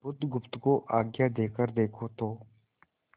बुधगुप्त को आज्ञा देकर देखो तो